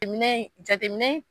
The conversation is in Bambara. Minɛminɛ